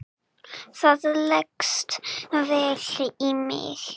Það leggst vel í mig.